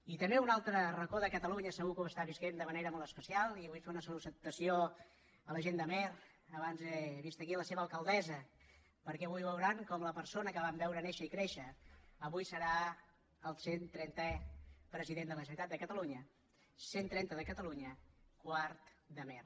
i també un altre racó de catalunya segur que ho està vivint de manera molt especial i vull fer una salutació a la gent d’amer abans he vist aquí la seva alcaldessa perquè avui veuran com la persona que van veure néixer i créixer avui serà el cent trentè president de la generalitat de catalunya cent trenta de catalunya quart d’amer